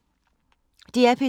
DR P3